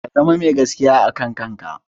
Ka zama mai gaskiya a kan kanka.